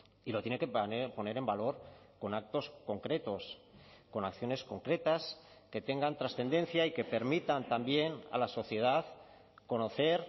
y lo tiene que poner en valor con actos concretos con acciones concretas que tengan trascendencia y que permitan también a la sociedad conocer